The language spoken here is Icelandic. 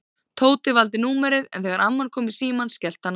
Tóti valdi númerið en þegar amman kom í símann skellti hann á.